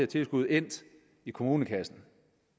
tilskud endt i kommunekassen